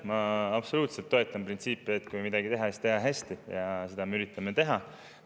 Ma absoluutselt toetan printsiipi, et kui midagi teha, siis teha hästi, ja seda me üritamegi teha.